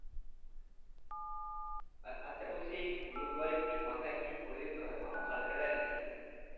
আচ্ছা বলছি গুরুদুয়ারে কি মাথায় কিছু পরে যেতে হয় মাথা খালি রাখা যাই না কি।